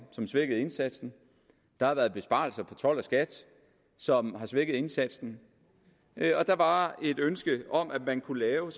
som svækkede indsatsen der har været besparelser i skat som har svækket indsatsen og der var som et ønske om at man kunne lave